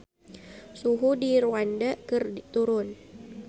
Suhu di Rwanda keur turun